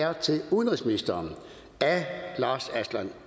er til udenrigsministeren af herre lars aslan